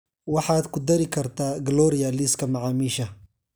waxaad ku dari kartaa gloria liiska macaamiisha